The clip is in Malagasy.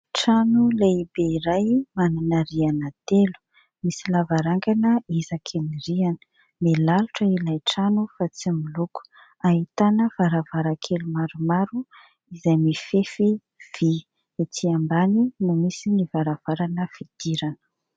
Trano lehibe iray manana rihana telo, misy lavarangana isaky ny rihana. Milalotra ilay trano fa tsy miloko, ahitana varavarankely maromaro izay mifefy vy, etsy ambany no misy ny varavarana fidirana.